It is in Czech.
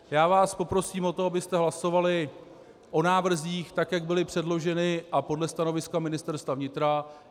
Já vás poprosím o to, abyste hlasovali o návrzích tak, jak byly předloženy, a podle stanoviska Ministerstva vnitra.